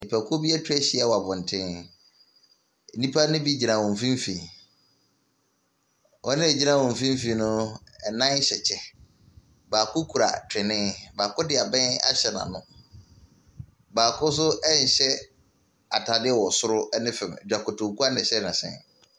Nnipakuo bi etwa ahyia wɔ abɔnten. Nnipa ne bi gyina wɔn mfimfini. Wɔn a wogyina wɔn mfimfini no ɛnan hyɛ kyɛ. Baako kura twene, baako de abɛn ahyɛ n'ano. Baako so ɛnhyɛ ataade wɔ soro ɛne fam. Dzankoto nkoa na ɛhyɛ n'ase.